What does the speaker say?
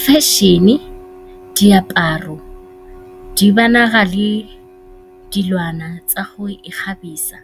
Fashion-e, diaparo, le dilwana tsa go ikgabisa